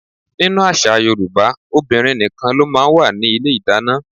Nínú àṣà Yorùbá, obìnrin nìkan ló máa ń wà ní ilé ìdáná.